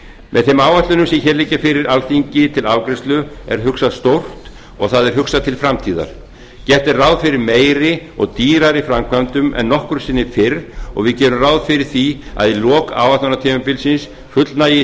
með þeim áætlunum sem hér liggja fyrir alþingi til afgreiðslu er hugsað stórt og það er hugsað til framtíðar gert er ráð fyrir meiri og dýrari framkvæmdum en nokkru sinni fyrr og við gerum ráð fyrir því að í lok áætlunartímabilsins fullnægi